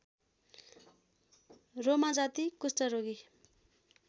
रोमाजाति कुष्टरोगी